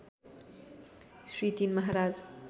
Shri ३ Maharaj